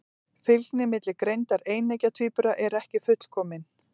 Fylgni milli greindar eineggja tvíbura er ekki fullkomin.